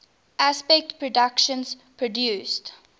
aspect productions produced